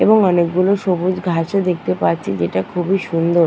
এবং অনেকগুলো সবুজ ঘাস ও দেখতে পাচ্ছি যেটা খুবই সুন্দর।